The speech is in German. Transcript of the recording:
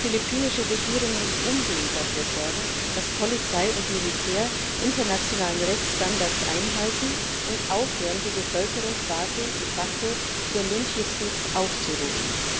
Die philippinische Regierung muss umgehend dafür sorgen, dass Polizei und Militär internationale Rechtsstandards einhalten, und aufhören, die Bevölkerung quasi de facto zur Lynchjustiz aufzurufen.